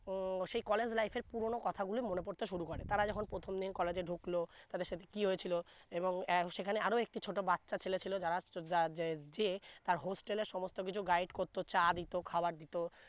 উম সেই college life এর পুরনো কথা গুলি মনে পরতে শুরু করে তারা যখন প্রথম দিন college এ ঢুকলো তাদের সাথে কি হয়েছিলো এবং এর সেখানে আরো একটি ছোট বাচ্চা ছেলে ছিলো যারা আশ্চর্য যা যে যে তার hostel এর সমস্থ কিছু Guide করতো চা দিতো খাবার দিতো